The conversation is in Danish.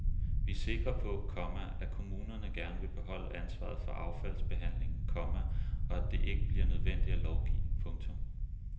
Vi er sikre på, komma at kommunerne gerne vil beholde ansvaret for affaldsbehandlingen, komma og at det ikke bliver nødvendigt at lovgive. punktum